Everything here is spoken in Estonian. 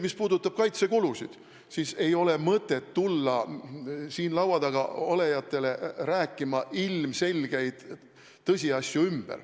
Mis puudutab kaitsekulusid, siis ei ole mõtet tulla siin laua taga olijatele ümber rääkima ilmselgeid tõsiasju.